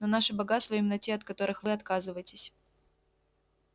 но наши богатства именно те от которых вы отказываетесь